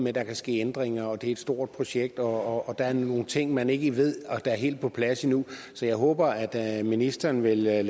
at der kan ske ændringer at det er et stort projekt og at der er nogle ting man ikke ved og som er helt på plads endnu så jeg håber at ministeren vil lade